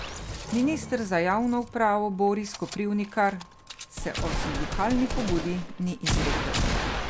Minister za javno upravo Boris Koprivnikar se o sindikalni pobudi ni izrekel.